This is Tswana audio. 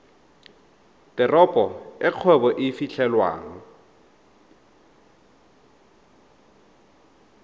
teropo e kgwebo e fitlhelwang